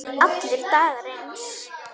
Allir dagar eins.